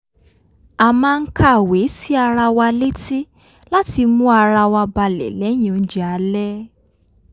a máa ń kàwé sí ara wa létí láti mú ara wa balẹ̀ lẹ́yìn oúnjẹ alẹ́